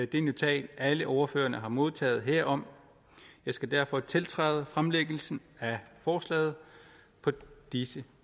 det notat alle ordførerne har modtaget herom jeg skal derfor tiltræde fremlæggelsen af forslaget på disse